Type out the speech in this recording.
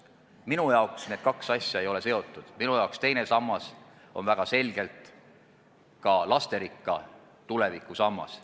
Minu jaoks ei ole need kaks asja seotud, minu jaoks on teine sammas väga selgelt ka lasterikka tuleviku sammas.